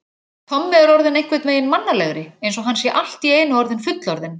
Tommi er orðinn einhvern veginn mannalegri, eins og hann sé allt í einu orðinn fullorðinn.